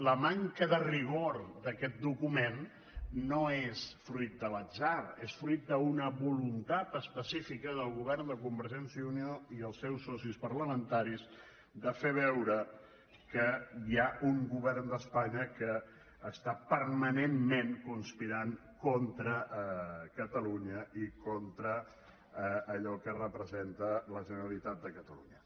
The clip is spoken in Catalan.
la manca de rigor d’aquest document no és fruit de l’atzar és fruit d’una voluntat específica del govern de convergència i unió i els seus socis parlamentaris de fer veure que hi ha un govern d’espanya que està permanentment conspirant contra catalunya i contra allò que representa la generalitat de catalunya